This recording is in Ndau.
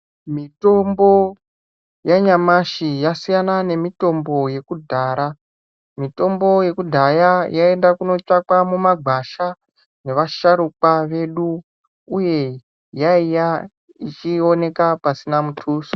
Mitombo yanyamashi yasiyana nemitombo yekudhara, mitombo yekudhaya yaiende kunotsvakwa mumagwasha nevasharukwa vedu uye yaiya ichionekwa pasina mutuso.